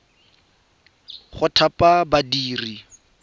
go thapa badiri ba ba